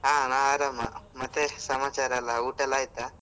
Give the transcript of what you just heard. ಹಾ ನಾನ್ ಆರಾಮ ಮತ್ತೆ ಸಮಾಚಾರ ಎಲ್ಲ, ಊಟ ಎಲ್ಲ ಆಯ್ತಾ?